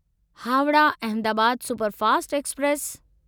Howrah Ahmedabad superfast express